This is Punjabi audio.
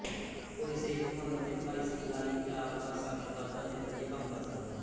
ਕੋਈ ਸਿਹਤਮੰਦ ਅਤੇ ਪੜ੍ਹਾਈਸਿਖਲਾਈਯਾਫ਼ਤਾ ਸ਼ਖ਼ਸ ਵੱਧ ਅਤੇ ਵਧੀਆ ਕੰਮ ਕਰ ਸਕਦਾ ਹੈ